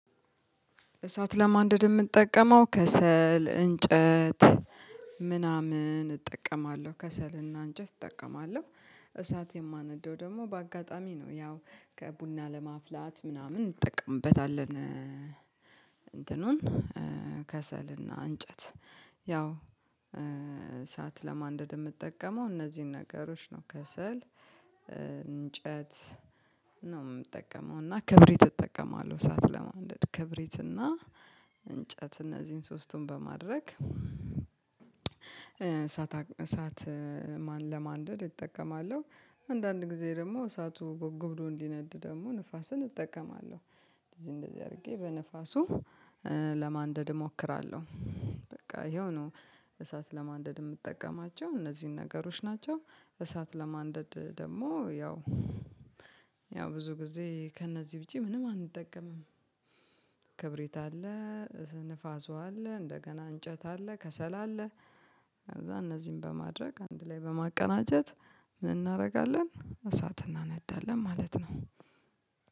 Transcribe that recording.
እሳት ለማንደድ የምንጠቀመው ከሰል፣ እንጨት ምናምን እጠቀማለሁ። ከሰል እና አንጨት እጠቀማለሁ እሳት የማነደው ደግሞ በአጋጣሚ ነው። ያው ከቡና ለማፍላት ምናምን እንጠቀምበታለን እንትኑን ከሰል እና እንጨት ያው እሳት ለማንደድ የምጠቀመው እነዚህን ነገሮች ነው ከሰል፣ እንጨት ነው የምጠቀመው እና ክብሪት እጠቀማለሁ እሳት ለማንደድን ክብሪት እና እንጨት እነዚህን ሶስቱን በማድረግ እሳት እሳት ለማንደድ እጠቀማለሁ። አንዳንድ ጊዜ ደግሞ እሳቱ በጎ ብሎ እንዲነድ ደግሞ ንፋስን እጠቀማለሁ። እንደዚህ እንደዚህ አድርጌ በንፋሱ ለማንደድ እሞክራለሁ። በቃ ይኸው ነው እሳት ለማንደድ የምጠቀማቸው እነዚህን ነገሮች ናቸው እሳት ለማንደድ ደግሞ ያው ያው ብዙ ጊዜ ከእነዚህ ዉጪ ምንም አንጠቀምም። ክብሪት አለ፣ ንፋሱ አለ፣ እንደገና እንጨት አለ፣ ከሰላ አለ፣ ከዛ እነዚህን በማድረግ አንድ ላይ በማቀናጀት ምን እናደርጋለን እሳት እናነዳለን ማለት ነው።